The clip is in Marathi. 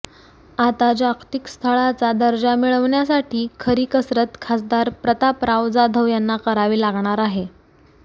आता जागतिक स्थळाचा दर्जा मिळविण्यासाठी खरी कसरत खासदार प्रतापराव जाधव यांना करावी लागणार आहे